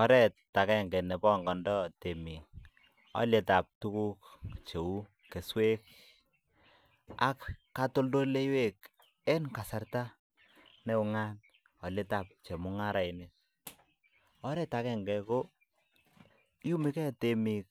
Oret akenge ne pongondoi temik olietab tukuk cheu keswek ak katoldoleiwek en kasarta ne ungat alietab chemungarainik, oret akenge ko iyumekei temik